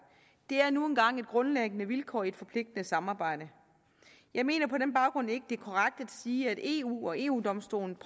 det er nu engang et grundlæggende vilkår i et forpligtende samarbejde jeg mener på den baggrund ikke det er korrekt at sige at eu og eu domstolen